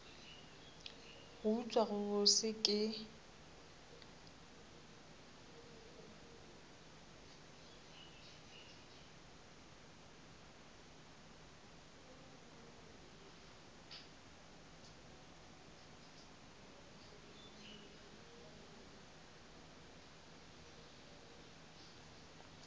go utswa go bose ke